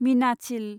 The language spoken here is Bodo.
मीनाचिल